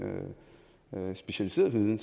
specialiserede viden